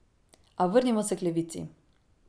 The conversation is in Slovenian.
A vrnimo se k levici.